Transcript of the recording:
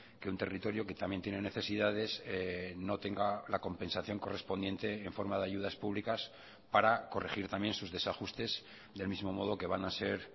que un territorio que también tiene necesidades no tenga la compensación correspondiente en forma de ayudas públicas para corregir también sus desajustes del mismo modo que van a ser